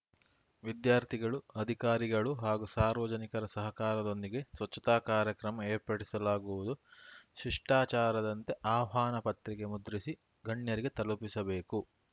ವಿದ್ಯಾರ್ಥಿಗಳು ಅಧಿಕಾರಿಗಳು ಹಾಗೂ ಸಾರ್ವಜನಿಕರ ಸಹಕಾರದೊಂದಿಗೆ ಸ್ವಚ್ಛತಾ ಕಾರ್ಯಕ್ರಮ ಏರ್ಪಡಿಸಲಾಗುವುದು ಶಿಷ್ಟಾಚಾರದಂತೆ ಆಹ್ವಾನ ಪತ್ರಿಕೆ ಮುದ್ರಿಸಿ ಗಣ್ಯರಿಗೆ ತಲುಪಿಸಬೇಕು